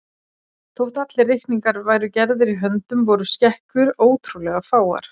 Þótt allir reikningar væru gerðir í höndum voru skekkjur ótrúlega fáar.